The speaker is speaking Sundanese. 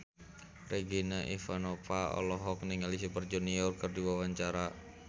Regina Ivanova olohok ningali Super Junior keur diwawancara